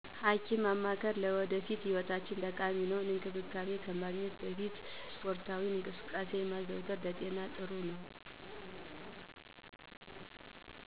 ሐኪምን ማማከር ለወደፊት ህይወታችን ጠቃሚ ነው። እንክብካቤ ከማግኘት በፊት ስፖርታዊ እንቅስቃሴ ማዘውተር ለጤና ጥሩ ነው።